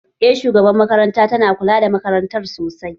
Eh shugabar makarantar tana kula da makarantar sosai